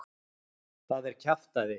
Það er kjaftæði.